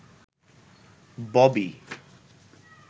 Bobby